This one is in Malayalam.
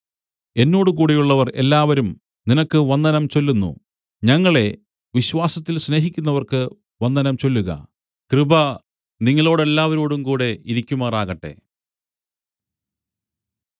എന്നോടുകൂടെയുള്ളവർ എല്ലാവരും നിനക്ക് വന്ദനം ചൊല്ലുന്നു ഞങ്ങളെ വിശ്വാസത്തിൽ സ്നേഹിക്കുന്നവർക്ക് വന്ദനം ചൊല്ലുക കൃപ നിങ്ങളോടെല്ലാവരോടുംകൂടെ ഇരിക്കുമാറാകട്ടെ